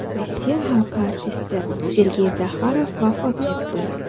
Rossiya xalq artisti Sergey Zaxarov vafot etdi.